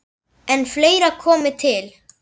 En fleira komi til.